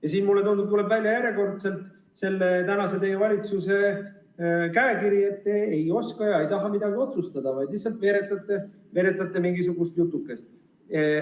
Ja siin, mulle tundub, tuleb järjekordselt välja teie praeguse valitsuse käekiri – te ei oska ega taha midagi otsustada, vaid lihtsalt veeretate mingisugust jutukest.